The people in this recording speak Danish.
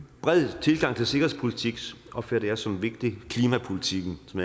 bred tilgang til sikkerhedspolitik opfatter jeg som vigtig klimapolitikken som